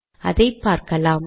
அதை பார்க்கலாம்